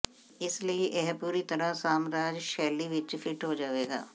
ਇਸ ਲਈ ਇਹ ਪੂਰੀ ਤਰ੍ਹਾਂ ਸਾਮਰਾਜ ਸ਼ੈਲੀ ਵਿਚ ਫਿੱਟ ਹੋ ਜਾਵੇਗਾ